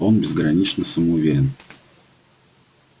он безгранично самоуверен